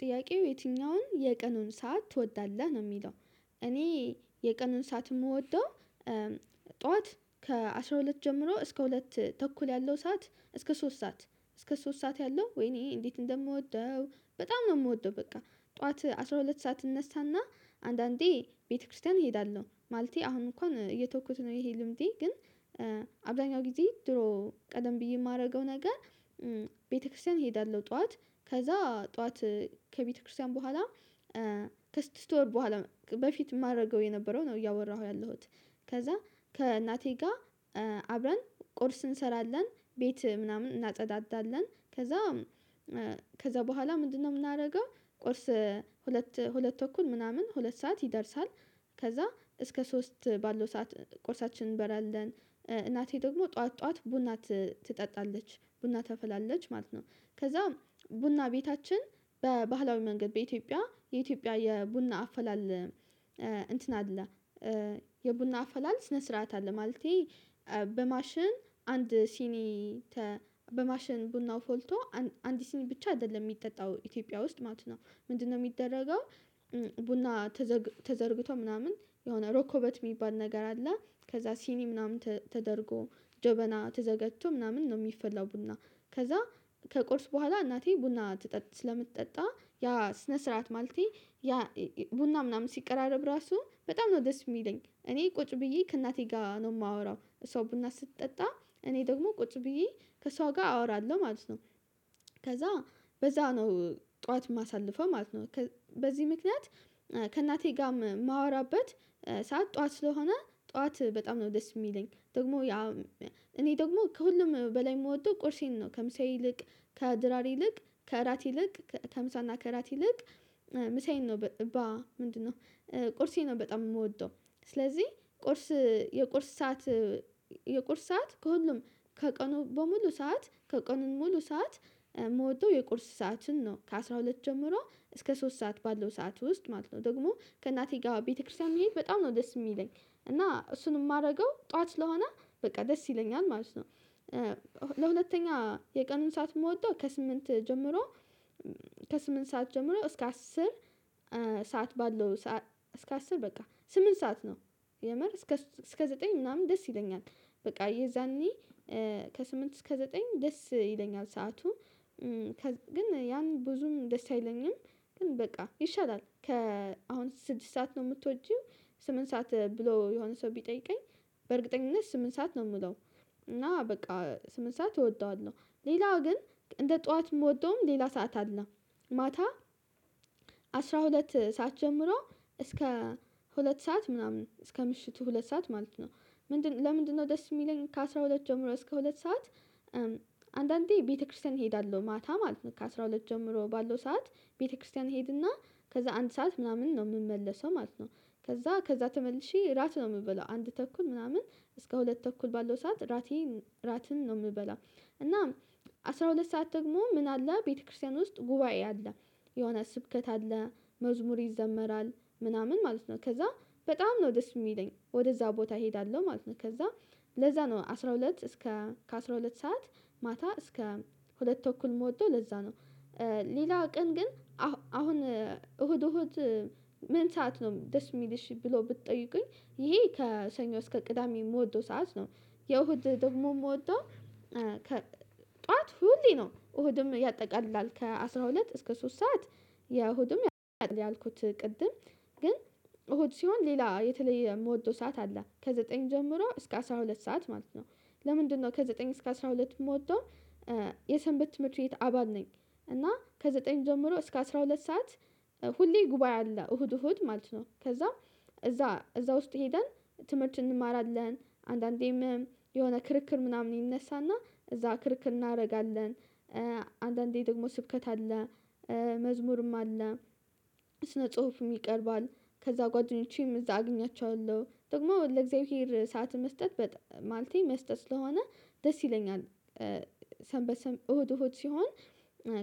ጥያቄው የትኛውን የቀኑን ሰዓት ትወዳለህ ነው የሚለው? እኔ የቀኑን ሰዓት የምወደው። ጠዋት ከአሥራ ሁለት ጀምሮ እስከ ሁለት ተኩል ያለው ሰዓት እስከ ሶስት ሰዓት። እስከ ሶስት ሰዓት ያለው ወይኔ እንዴት እንደምወደው በጣም ነው የምወደው። በቃ ጠዋት አስራ ሁለት ሰዓት እነሳና አንዳንዴ ቤተክርስቲያን እሄዳለሁ ማለቴ አሁን እንኳን እየተውኩት ነው ይሄ ልምዴ ግን። አብዛኛው ጊዜ ድሮ ቀደም ብዬ የማደርገው ነገር። ቤተክርስቲያን እሄዳለሁ ጠዋት ከዛ ጠዋት ከቤተክርስቲያን በኋላ ከስድስት ወር በኋላ በፊት የማደርገው የነበረው ነው እያወራሁ ያለሁት። ከዛ ከእናቴ ጋር አብረን ቁርስ እንሰራለን ቤት ምናምን እናጸዳዳለን። ከዛ ከዛ በኋላ ምንድነው? የምናደርገው ቁርስ ሁለት ሁለት ተኩል ምናምን ሁለት ሰዓት ይደርሳል ከዛ እስከ ሶስት ባለው ሰዓት ቁርሳችንን እንበላለን። እናቴ ደግሞ ጠዋት ጠዋት ቡና ትጠጣለች ቡና ታፈላለች ማለት ነው። ከዛ ቡና ቤታችን በባህላዊ መንገድ በኢትዮጵያ የኢትዮጵያ የቡና አፈላል እንትን አለ። የቡና አፈላል ስነ ስርዓት አለ ማለቴ። በማሽን አንድ ሲኒ በማሽን ቡናው ፈልቶ አንዲት ሲኒ ብቻ አይደለም የሚጠጣው ኢትዮጵያ ውስጥ ማለት ነው። ምንድነው የሚደረገው? ቡና ተዘርግቶ ምናምን የሆነ ሮኮቦት የሚባል ነገር አለ። ከዛ ሲኒ ምናምን ተደርጎ ጀበና ተዘጋጅቶ ምናምን ነው የሚፈላው ቡና። ከዛ ከቁርስ በኋላ እናቴ ቡና ስለምትጠጣ ያ ስነ ስርዓት ማለቴ ያ ቡና ምናምን ሲቀራረብ ራሱ በጣም ነው ደስ የሚለኝ። እኔ ቁጭ ብዬ ከእናቴ ጋር ነው የማወራው እሷ ቡና ስትጠጣ እኔ ደግሞ ቁጭ ብዬ ከሷ ጋር አወራለሁ ማለት ነው። ከዛ በዛ ነው ጠዋት የማሳልፈው ማለት ነው። በዚህ ምክንያት ከእናቴ ጋር የማወራበት ሰዓት ጠዋት ስለሆነ ጠዋት በጣም ነው ደስ የሚለኝ ደግሞ እኔ ደግሞ ከሁሉም በላይ የምወደው ቁርሴን ነው። ከምሳ ይልቅ ከድራር ይልቅ ከእራት ይልቅ ከምሳና ከእራት ይልቅ ምሳዬን ነው። ምንድነው? ቁርሴን ነው በጣም የምወደው። ስለዚህ ቁርስ የቁርስ ሰዓት የቁርስ ሰዓት ከሁሉም ከቀኑ በሙሉ ሰዓት ከቀኑን ሙሉ ሰዓት የምወደው የቁርስ ሰዓትን ነው ከአሥራ ሁለት ጀምሮ እስከ ሶስት ሰዓት ባለው ሰዓት ውስጥ ማለት ነው። ደግሞ ከእናቴ ጋር ቤተክርስቲያን መሄድ በጣም ነው ደስ የሚለኝ እና እሱን የማደርገው ጠዋት ስለሆነ በቃ ደስ ይለኛል ማለት ነው። ለሁለተኛ የቀኑን ሰዓት የምወደው ከስምንት ጀምሮ ከስምንት ሰዓት ጀምሮ እስከ አስር ሰዓት ባለው ሰዓት እስከ አስር በቃ ስምንት ሰዓት ነው። የምር እስከ እስከ ዘጠኝ ምናምን ደስ ይለኛል በቃ የዛኔ ከስምንት እስከ ዘጠኝ ደስ ይለኛል ሰዓቱ። ግን ያን ብዙም ደስ አይለኝም ግን በቃ ይሻላል ከአሁን ስድስት ሰዓት ነው የምትወጂው? ስምንት ሰዓት ብሎ የሆነ ሰው ቢጠይቀኝ በእርግጠኝነት ስምንት ሰዓት ነው የምለው እና በቃ ስምንት ሰዓት እወደዋለሁ። ሌላው ግን እንደ ጠዋት የምወደውም ሌላ ሰዓት አለ። ማታ አስራ ሁለት ሰዓት ጀምሮ እስከ ሁለት ሰዓት ምናምን እስከ ምሽቱ ሁለት ሰዓት ማለት ነው። ምንድነው ለምንድነው? ደስ የሚለኝ ከአሥራ ሁለት ጀምሮ እስከ ሁለት ሰዓት አንዳንዴ ቤተክርስቲያን እሄዳለሁ ማታ ማለት ነው ከአሥራ ሁለት ጀምሮ ባለው ሰዓት ቤተክርስቲያን እሄድና ከዛ አንድ ሰዓት ምናምን ነው የምመለሰው ማለት ነው። ከዛ ከዛ ተመልሼ ራት ነው የምበለው አንድ ተኩል ምናምን እስከ ሁለት ተኩል ባለው ሰዓት ራቴን ራትን ነው የምበላው። እናም አስራ ሁለት ሰዓት ደግሞ ምን አለ ቤተክርስቲያን ውስጥ ጉባኤ አለ። የሆነ ስብከት አለ መዝሙር ይዘመራል ምናምን ማለት ነው። ከዛ በጣም ነው ደስ የሚለኝ ወደዛ ቦታ እሄዳለሁ ማለት ነው። ከዛ ለዛ ነው አስራ ሁለት እስከ ከ አስራ ሁለት ሰዓት ማታ እስከ ሁለት ተኩል ምወደው ለዛ ነው። ሌላው ቀን ግን አሁን እሁድ እሁድ ምን ሰዓት ነው ደስ የሚልሽ ብሎ ብትጠይቁኝ ይሄ ከሰኞ እስከ ቅዳሜ የምወደው ሰዓት ነው። የእሁድ ደግሞ የምወደው። ጠዋት ሁሌ ነው እሁድም ያጠቃላል ከአሥራ ሁለት እስከ ሶስት ሰዓት የእሁድም ያልኩት ቅድም ግን እሁድ ሲሆን ሌላ የተለየ የምወደው ሰዓት አለ ከዘጠኝ ጀምሮ እስከ አስራ ሁለት ሰዓት ማለት ነው። ለምንድነው? ከዘጠኝ እስከ አስራ ሁለት የምወደው የሰንበት ትምህርት ቤት አባል ነኝ። እና ከዘጠኝ ጀምሮ እስከ አስራ ሁለት ሰዓት ሁሌ ጉባኤ አለ እሁድ እሁድ ማለት ነው። ከዛ እዛ እዛ ውስጥ ሄደን ትምህርት እንማራለን አንዳንዴም የሆነ ክርክር ምናምን ይነሳና እዛ ክርክር እናደርጋለን። አንዳንዴ ደግሞ ስብከት አለ። መዝሙርም አለ። ስነ ጽሁፍም ይቀርባል። ከዛ ጓደኞቼም እዛ አገኛቸዋለሁ ደግሞ ለእግዚአብሔር ሰዓት መስጠት ማለቴ መስጠት ስለሆነ ደስ ይለኛል። ሰንበት እሁድ እሁድ ሲሆን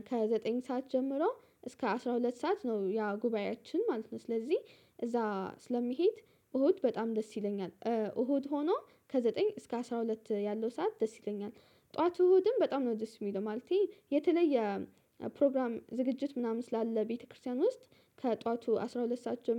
ከዘጠኝ ሰዓት ጀምሮ እስከ አስራ ሁለት ሰዓት ነው ያ ጉባኤያችን ማለት ነው። ስለዚህ እዛ ስለምሄድ እሁድ በጣም ደስ ይለኛል። እሁድ ሆኖ ከዘጠኝ እስከ አስራ ሁለት ያለው ሰዓት ደስ ይለኛል። ጠዋት እሁድም በጣም ነው ደስ የሚለው ማለቴ የተለየ። ፕሮግራም ዝግጅት ምናምን ስላለ ቤተክርስቲያን ውስጥ ከጧቱ አስራ ሁለት ሰዓት ጀምሮ